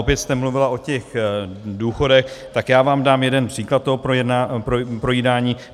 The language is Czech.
Opět jste mluvila o těch důchodech, tak já vám dám jeden příklad toho projídání.